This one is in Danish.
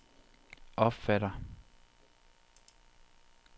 opfatter